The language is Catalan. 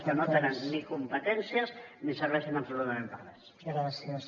que no tenen ni competències ni serveixen absolutament per a res